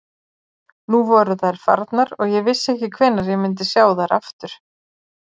Nú voru þær farnar og ég vissi ekki hvenær ég myndi sjá þær aftur.